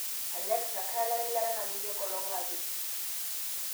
Alexa kaelare eilata namitiki enkolong apeny